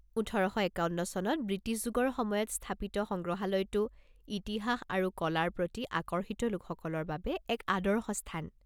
ওঠৰ শ একাৱন্ন চনত ব্ৰিটিছ যুগৰ সময়ত স্থাপিত, সংগ্ৰহালয়টো ইতিহাস আৰু কলাৰ প্ৰতি আকৰ্ষিত লোকসকলৰ বাবে এক আদৰ্শ স্থান।